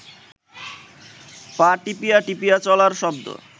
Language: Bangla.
পা টিপিয়া টিপিয়া চলার শব্দ